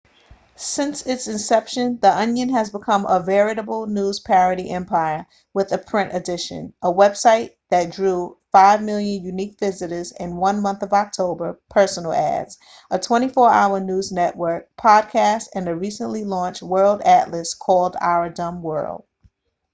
since its inception the onion has become a veritable news parody empire with a print edition a website that drew 5,000,000 unique visitors in the month of october personal ads a 24 hour news network podcasts and a recently launched world atlas called our dumb world